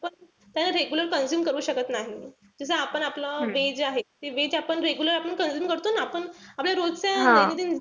त्यांना regular consume करू शकत नाही. जस आपण आपलं veg आहे ते veg आपण regular consume करतो ना.